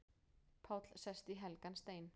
Páll sest í helgan stein